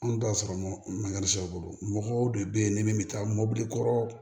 An t'a sɔrɔ mankan sɔrɔ mɔgɔw de bɛ yen ni min bɛ taa mobili kɔrɔ